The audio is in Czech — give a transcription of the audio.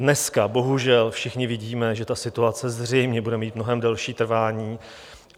Dneska bohužel všichni vidíme, že ta situace zřejmě bude mít mnohem delší trvání.